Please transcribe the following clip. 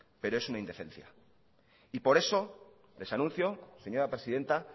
pero es una indecencia y por eso les anuncio señora presidenta